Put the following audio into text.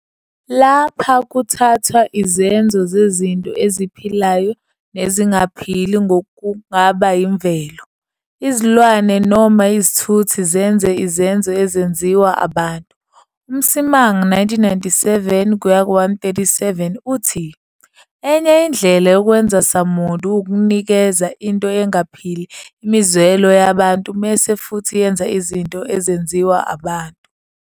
Lapha kuthathwa izenzo zezinto eziphilayo nezingaphili okungaba imvelo, izilwane noma izithuthi zenze izenzo ezenziwa abantu. UMsimang, 1997-137, uthi- "Enye indlela yokwenzasamuntu wukunikeza into engaphili imizwelo yabantu bese futhi yenza izinto ezenziwa abantu."